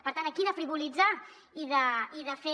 per tant aquí de frivolitzar i de fer